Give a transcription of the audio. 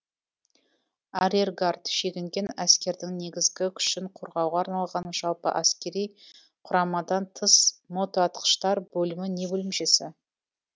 арьергард шегінген әскердің негізгі күшін қорғауға арналған жалпы әскери құрамадан тыс мотоатқыштар бөлімі не бөлімшесі